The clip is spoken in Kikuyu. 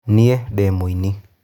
Niĩ ndĩ mũini.